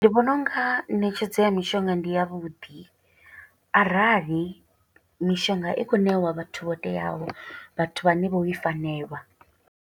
Ndi vhona unga ṋetshedzo ya mishonga ndi yavhuḓi, arali mishonga i khou ṋewa vhathu vho teaho, vhathu vhane vho i fanelwa.